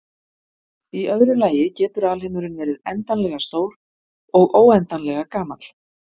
Í öðru lagi getur alheimurinn verið endanlega stór og óendanlega gamall.